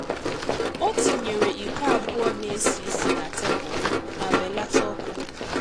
O tinyere iko abụọ na-esi ịsi na tebụl ma belata ọkụ.